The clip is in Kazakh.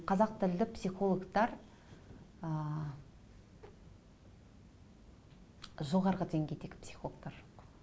қазақ тілді психологтар ы жоғарғы денгейдегі психологтар